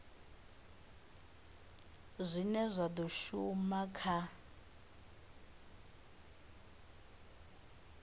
zwine zwa do shuma kha